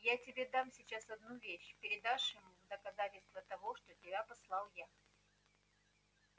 я тебе дам сейчас одну вещь передашь ему в доказательство того что тебя послал я